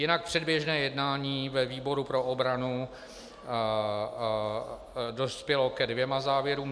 Jinak předběžné jednání ve výboru pro obranu dospělo ke dvěma závěrům.